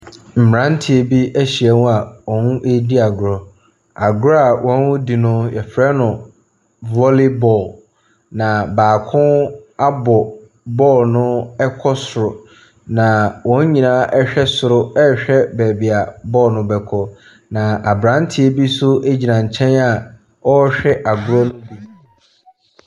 Mmranteɛ bi ahyaim a wɔredi agorɔ. Agorɔ a wɔredi no yɛfrɛ no volley ball. Na baako abɔ ball no kɔ soro. Na wɔn nyinaa ɛhwɛ soro rehwɛ baabi a ball no bɛkɔ. Na abranteɛ bi nso gyina nkyɛ a ɔrehwɛ agorɔ no bi.